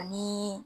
Ani